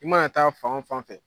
I ma na taa fan fan fɛ